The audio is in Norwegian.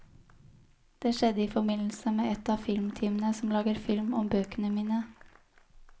Det skjedde i forbindelse med et av filmteamene som lager film om bøkene mine.